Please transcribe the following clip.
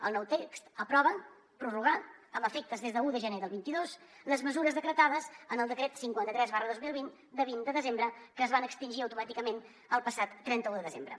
el nou text aprova prorrogar amb efectes des d’un de gener del vint dos les mesures decretades en el decret cinquanta tres dos mil vint de vint de desembre que es van extingir automàticament el passat trenta un de desembre